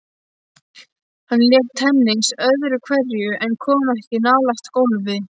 Hann lék tennis öðru hverju en kom ekki nálægt golfi.